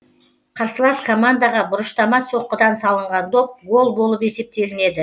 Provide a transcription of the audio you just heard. қарсылас командаға бұрыштама соққыдан салынған доп гол болып есептелінеді